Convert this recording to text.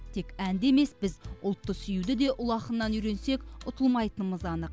тек әнді емес біз ұлтты сүюді де ұлы ақыннан үйренсек ұтылмайтынымыз анық